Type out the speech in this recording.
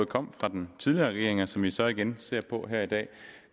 kom fra den tidligere regering og som vi så igen ser på her i dag